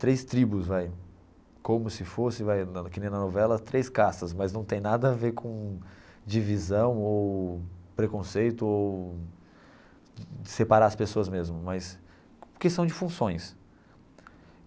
Três tribos vai, como se fosse vai, que nem na novela, três castas, mas não tem nada a ver com divisão ou preconceito ou separar as pessoas mesmo mas, porque são de funções.